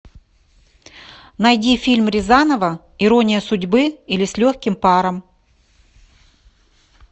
найди фильм рязанова ирония судьбы или с легким паром